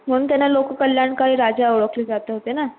म्हणून त्यांना लोक कल्याणकारी राजा ओळखले जात होते ना,